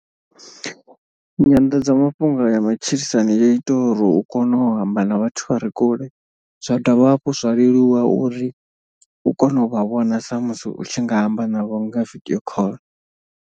Nyanḓadzamafhungo ya matshilisano yo ita uri u kone u amba na vhathu vha re kule. Zwa dovha hafhu zwa leluwa uri u kone u vha vhona sa musi u tshi nga amba navho nga video call.